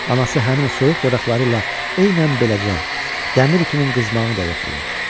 Anası həmin o soyuq dodaqları ilə eynən beləcə dəmir ütünün qızmağını da yoxlayırdı.